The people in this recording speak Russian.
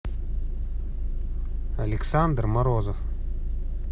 александр морозов